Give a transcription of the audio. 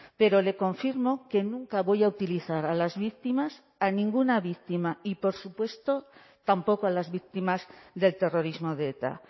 pero le confirmo que nunca voy a utilizar a las víctimas a ninguna víctima y por supuesto tampoco a las víctimas del terrorismo de eta